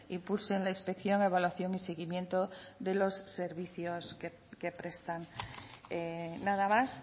impulsen la inspección evaluación y seguimiento de los servicios que prestan nada más